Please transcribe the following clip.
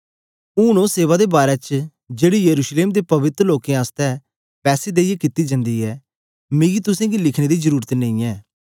ऊन ओ सेवा दे बारै च जेड़ी यरूशलेम दे पवित्र लोकें आसतै पैसे देईयै कित्ती जन्दी ऐ मिगी तुसेंगी लिखने दी जरुरत नेई ऐ